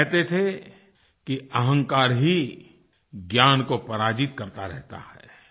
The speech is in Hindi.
वह कहते थे कि अहंकार ही ज्ञान को पराजित करता रहता है